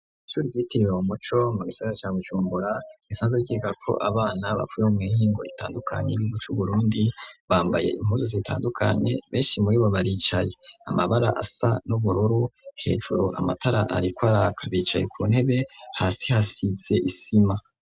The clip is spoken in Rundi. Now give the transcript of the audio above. Ishure ry'itiriwe Umuco mu gisaga ca Bujumbura isanze giga ko abana bapfuye muihingo itandukanye iruguce burundi bambaye impuzu zi itandukanye benshi muribo baricaye amabara asa n'ubururu hejuro amatara ariko araka kabicaye ku ntebe hasi hasitse isima.